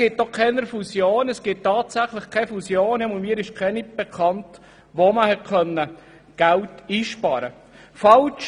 Mir ist tatsächlich auch keine Fusion bekannt, bei der man Geld einsparen konnte.